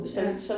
Ja